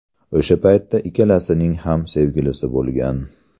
O‘sha paytda ikkalasining ham sevgilisi bo‘lgan.